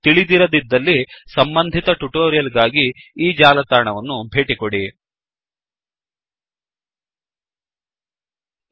ತಿಳಿದಿರದಿದ್ದಲ್ಲಿ ಸಂಬಂಧಿತ ಟ್ಯುಟೋರಿಯಲ್ ಗಾಗಿ ಈ ಜಾಲತಾಣವನ್ನು ಭೇಟಿ ಮಾಡಿ